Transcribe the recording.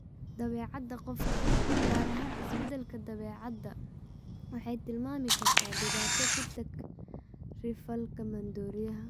Dabeecadda qofka, gaar ahaan isbeddelka dabeecadda, waxay tilmaami kartaa dhibaato ku-takri-falka maandooriyaha.